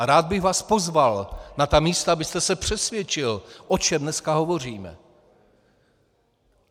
A rád bych vás pozval na ta místa, abyste se přesvědčil, o čem dneska hovoříme.